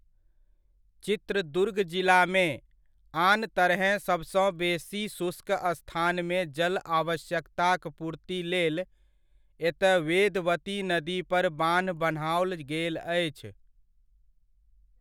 चित्रदुर्ग जिलामे, आन तरहेँ सबसँ बेसी शुष्क स्थानमे जल आवश्यकताक पूर्ति लेल एतय वेदवती नदीपर बान्ह बनाओल गेल अछि।